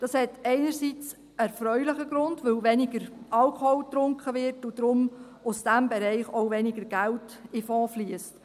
Das hat einerseits einen erfreulichen Grund, weil weniger Alkohol getrunken wird und daher aus diesem Bereich auch weniger Geld in den Fonds fliesst.